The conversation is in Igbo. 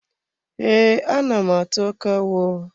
Ee, ana m atụ akawo.